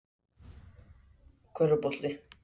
Hvort eru hýenur skyldari hundum eða köttum?